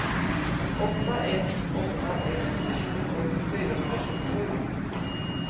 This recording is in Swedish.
åtta ett åtta ett tjugosju fyrahundratjugosju